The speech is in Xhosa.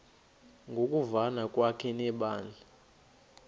ngokuvana kwakhe nebandla